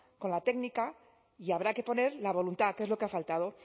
con la técnica y habrá que poner la voluntad que es lo que ha faltado